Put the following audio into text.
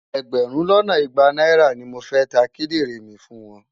Ẹgbẹ̀rún lọ́nà igba náírà ni mo fẹ́ ta kídìrìn mi fún wọn.